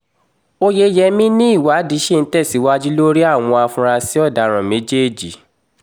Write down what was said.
oyeyẹmí ni ìwádìí ṣì ń tẹ̀síwájú lórí àwọn afurasí ọ̀daràn méjèèjì